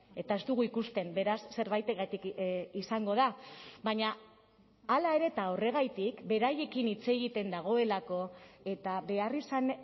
eta ez dugu ikusten beraz zerbaitengatik izango da baina hala ere eta horregatik beraiekin hitz egiten dagoelako eta beharrizan